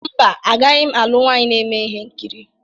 Mba, agaghị m alụ nwaanyị na-eme ihe nkiri.